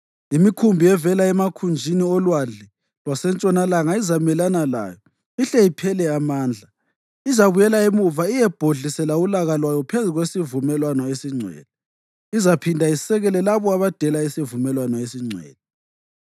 Imikhumbi evela emakhunjini olwandle lwasentshonalanga izamelana layo ihle iphele amandla. Izabuyela emuva iyebhodlisela ulaka lwayo phezu kwesivumelwano esingcwele. Izaphinda isekele labo abadela isivumelwano esingcwele.